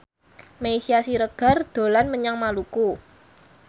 Meisya Siregar dolan menyang Maluku